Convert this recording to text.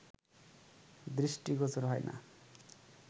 দৃষ্টিগোচর হয় না